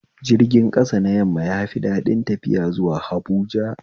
Jirga ƙasa na yamma yafi daɗin tafiya zuwa Habuja